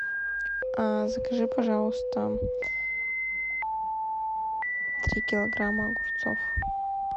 закажи пожалуйста три килограмма огурцов